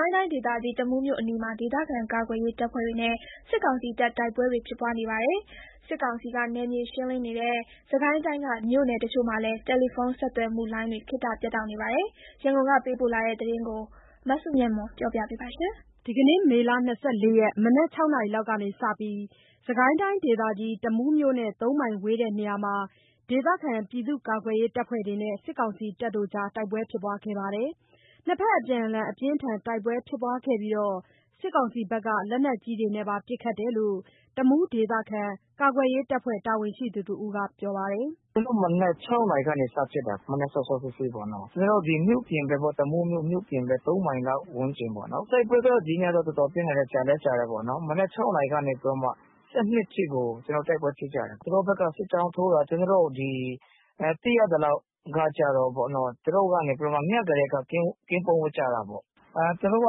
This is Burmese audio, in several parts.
ိုင်းတိုင်းဒေသကြီး တမူးမြို့အနီးမှာ ဒေသခံကာကွယ်ရေးတပ်ဖွဲ့တွေနဲ့ စစ်ကောင်စီတပ် တိုက်ပွဲတွေ ဖြစ်ပွားနေပါတယ်။ စစ်ကောင်စီက နယ်မြေရှင်းလင်းနေတဲ့ စစ်ကိုင်းတိုင်းက မြို့နယ် အချို့မှာလည်း တယ်လီဖုန်းဆက်သွယ်ခေါ်ဆိုမှုလိုင်းတွေ ခေတ္တပြတ်တောက်နေပါတယ်။ ရန်ကုန်က ပေးပို့လာတဲ့သတင်းကို မဆုမွန်က တင်ပြပေးထားပါတယ်။ မေလ ၂၄ ရက် မနက် ၆ နာရီက စပြီး စစ်ကိုင်းတိုင်းဒေသကြီး တမူးမြို့နဲ့ ၃ မိုင် ဝေးတဲ့နေရာမှာ ဒေသခံကာကွယ်ရေး တပ်ဖွဲ့တွေနဲ့ စစ်ကောင်စီတပ်တွေ တိုက်ပွဲဖြစ်ပွားနေတာပါ။ နှစ်ဘက် အပြန်အလှန် အပြင်းအထန် တိုက်ပွဲဖြစ်ပွားပြီး စစ်ကောင်စီက လက်နက်ကြီးတွေနဲ့ပါ ပစ်ခတ်တယ်လို့ တမူးဒေသခံကာကွယ်ရေးတပ်ဖွဲ့ တာဝန်ရှိသူတဦးက ပြောပါတယ်။ “ကျနော်တို့ မနက် ၆ နာရီကနေ စဖြစ်တာ မနက်စောစောစီးစီးပေါ့နော်။ မြို့ပြင်ဘက် တမူးမြို့ ပြင်ဘက် ၃ မိုင်လောက် ဝန်းကျင်ပေါ့နော်။ တိုက်ပွဲကတော့ ဒီနေ့က တော်တော်တော့ပြင်းထန်တယ်။ ကြာလည်းကြာတယ်ပေါ့။ မနက် ၆ နာရီကနေ ၁၂ အထိကို တိုက်ပွဲဖြစ်ကြတယ်။ ဟိုဘက်က စစ်ကြောင်းထိုးတာ ဒီသိရသလောက် သူတို့ညကတည်းက ကင်းပုန်းဝပ်ကြတာပေါ့။ သူတို့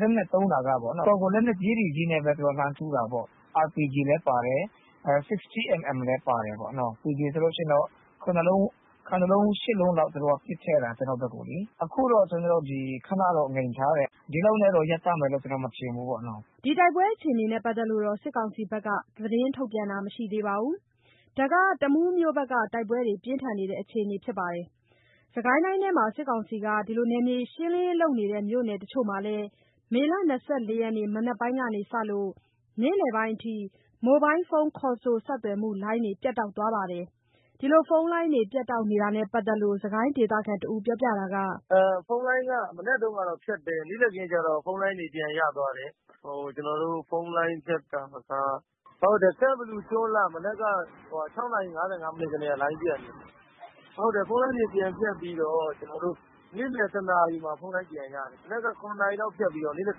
လက်နက်သုံးတာက တော်တော်ကို လက်နက်ကြီးတွေနဲ့ လှမ်းထုတာပေါ့။ RPG လည်းပါတယ်။ 60 mm လည်းပါတယ်။ RPG ဆိုရင် ၇ လုံး ၈ လုံးလောက် ပစ်ထည့်တာပေါ့။ ကျနော်တို့ဘက်ကို အခုတော့ ကျနော်တို့ ခဏတော့ ငြိမ်ထားတယ်။ ဒီလောက်နဲ့တော့ ရပ်တန့်မယ်လို့ ကျနော်တို့ မထင်ဘူးပေါ့။” တိုက်ပွဲအခြေအနေနဲ့ ပတ်သက်လို့ စစ်ကောင်စီက သတင်းထုတ်ပြန်တာမရှိသေးပါဘူး။ ဒါက တမူးမြို့ဘက်က တိုက်ပွဲတွေ ပြင်းထန်နေတဲ့အခြေအနေပါ။ စစ်ကိုင်းတိုင်းထဲက စစ်ကောင်စီက နယ်မြေရှင်းလင်းရေးလုပ်နေတဲ့ မြို့နယ်အချို့မှာလည်း မေ ၂၄ ရက် မနက်ပိုင်းကစလို့ နေ့လယ်ပိုင်းအထိ မိုဘိုင်းဖုန်းခေါ်ဆို ဆက်သွယ်မှုလိုင်းတွေ ပြတ်တောက်သွားပါတယ်။ ဖုန်းလိုင်း ပြတ်တောက်တာနဲ့ ပတ်သက်လို့ စစ်ကိုင်းတိုင်းဒေသခံတဦးက အခုလို ပြောပါတယ်။ “ဖုန်းလိုင်းက မနက်တုန်းက ဖြတ်တယ်။ နေ့လယ်ခင်းကျတော့ ဖုန်းလိုင်းတွေ ပြန်ရသွားတယ်။ ဖုန်းလိုင်း ပြတ်တာက ကန့်ဘလူ၊ ကျွန်းလှက မနက် ၆ နာရီ ၅၅ မိနစ်ကတည်းက ဖုန်းလိုင်းတွေပြတ် သွားတယ်။ ဖုန်းလိုင်းတွေ ပြန်ပြတ်ပြီးတော့ နေ့လယ် ၁ နာရီမှာ ဖုန်းလိုင်းတွေပြန်ရတယ်။ မနက် ၇ နာရီမှာ ပျက်ပြီး နေ့လည်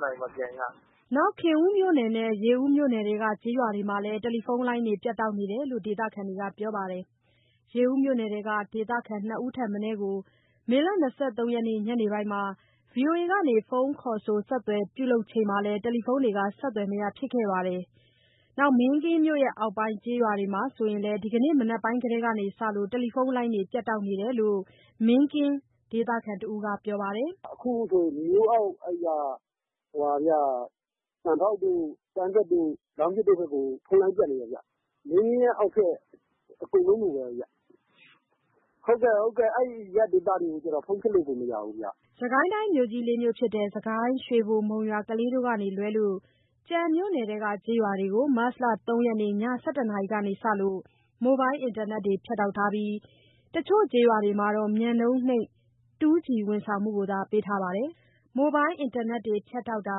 ၁ နာရီမှာ ပြန်ရတယ်။” ခင်ဦးမြို့နယ်နဲ့ ရေဦး မြို့နယ်ထဲက ကျေးရွာတွေမှာလည်း တယ်လီဖုန်းလိုင်းတွေ ပြတ်တောက်တယ်လို့ ဒေသခံတွေက ပြောပါတယ်။ ရေဦးမြို့နယ်ထဲက ဒေသခံ ၂ ဦးထက်မနည်းကို မေ ၂၃ ရက် ညနေပိုင်းမှာ ဗွီအိုအေက ဖုန်းခေါ်ဆို ဆက်သွယ်ပြုလုပ်ချိန်မှာလည်း တယ်လီဖုန်းတွေ ဆက်သွယ်မရဖြစ်ခဲ့ပါတယ်။ မင်းကင်းမြို့အောက်ပိုင်း ကျေးရွာတွေမှာဆိုရင်လည်း ဒီကနေ့ မနက်ပိုင်းကတည်းကစလို့ တယ်လီဖုန်းလိုင်းတွေ ပြတ်တောက်သွားတယ်လို့လည်း မင်းကင်း ဒေသခံတဦးက ပြောပါတယ်။ “အခုဆို သံပေါက် ကမ်းတက် လောင်းပြည်တို့ဘက်မှာ ဖုန်းလိုင်းတွေပြတ်နေတယ်။ မင်းကင်းရဲ့အောက်ဘက် အကုန်လုံးလိုလိုပဲ အဲ့အရပ်ဒေသတွေကို ဖုန်းဆက်လို့ကိုမရဘူး။” စစ်ကိုင်းတိုင်းက မြို့ကြီး ၄ မြို့ဖြစ်တဲ့ စစ်ကိုင်း၊ ရွှေဘို၊ မုံရွာ၊ ကလေးတို့ကလွဲပြီး ကျန်မြို့နယ်တွေထဲက ကျေးရွာတွေကို မတ်လ ၃ ရက် ည ၁၁ နာရီကစလို့ မိုဘိုင်းအင်တာနက်တွေကို ဖြတ်တောက်ထားပြီး တချို့ကျေးရွာတွေမှာတော့ မြန်နှုန်နိမ့် 2G ဝန်ဆောင်မှုသာ ပေးထားပါတယ်။ မိုဘိုင်းအင်တာနက်တွေ ပြတ်တောက်တာ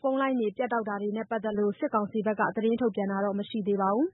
ဖုန်းလိုင်းတွေ ပြတ်တောက်တာနဲ့ ပတ်သက်လို့ စစ်ကောင်စီက သတင်းထုတ် ပြန်တာတော့မရှိသေးပါဘူး။